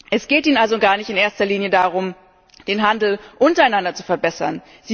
Es geht ihnen also gar nicht in erster Linie darum, den Handel untereinander zu verbessern.